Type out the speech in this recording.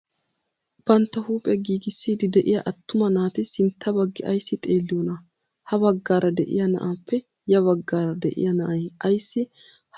Bantta huuphphiyaa giigissiidi de'iyaa attuma naati sintta baggi ayssi xeelliyoonaa? ha baggaara de'iyaa na'aappe ya baggaara de'iyaa na'ay ayssi ha baggi xeellii?